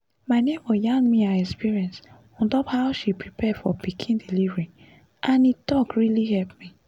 my neighbor yarn me her experience on top how she prepare for pikin delivery and e talk really help me